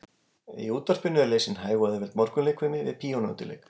Í útvarpinu var lesin hæg og auðveld morgunleikfimi við píanóundirleik